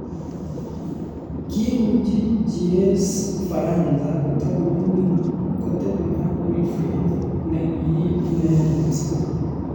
Kiuchi Jires Ufaransa kotakoming'in kotebi ak Wilfred nekiriib inendet.